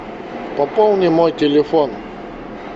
пополни мой телефон